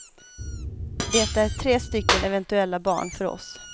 Det är tre stycken eventuella barn för oss.